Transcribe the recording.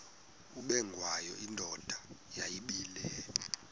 ubengwayo indoda yayibile